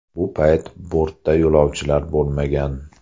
Bu payt bortda yo‘lovchilar bo‘lmagan.